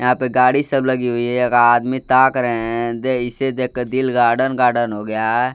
यहां पे गाड़ी सब लगी हुई है एक आदमी ताक रहे हैं इसे देख के दिल गार्डन गार्डन हो गया है।